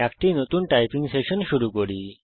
একটি নতুন typing session শুরু করি